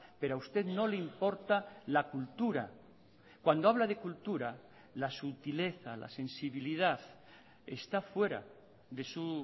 pero a usted no le importa la cultura cuando habla de cultura la sutileza la sensibilidad está fuera de su